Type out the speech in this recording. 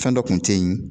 Fɛn dɔ kun tɛ ye